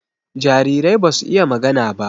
Jarirai basu iya magana ba